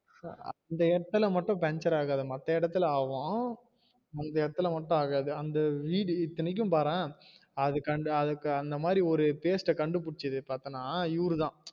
அந்த இடத்துல மட்டும் பஞ்சர் ஆகாது மத்த இடத்துல ஆகும் அந்த இடத்துல மட்டும் ஆகாது அந்த வீடு இத்தைனைக்கும் பார்ரேன் அதுக்கு அந்த மாதிரி paste ஆஹ் கண்டுபிடிச்சது பாத்தேன்னா இவருதா